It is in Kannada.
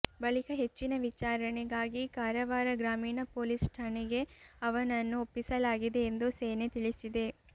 ಬಳಿಕ ಹೆಚ್ಚಿನ ವಿಚಾರಣೆಗಾಗಿ ಕಾರವಾರ ಗ್ರಾಮೀಣ ಪೊಲೀಸ್ ಠಾಣೆಗೆ ಅವನನ್ನು ಒಪ್ಪಿಸಲಾಗಿದೆ ಎಂದು ಸೇನೆ ತಿಳಿಸಿದೆ